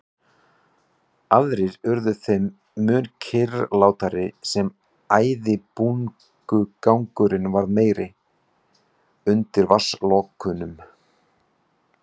Aðrir urðu þeim mun kyrrlátari sem æðibunugangurinn varð meiri undir vatnslokunum.